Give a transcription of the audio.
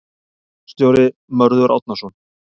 Ritstjóri: Mörður Árnason.